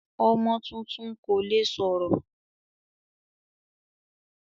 Ọmọ tuntun kò le sọ̀rọ̀.